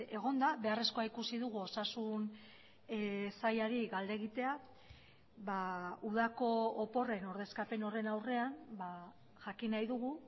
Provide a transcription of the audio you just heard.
egonda beharrezkoa ikusi dugu osasun sailari galde egitea udako oporren ordezkapen horren aurrean jakin nahi dugu